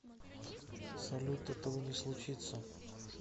салют этого не случится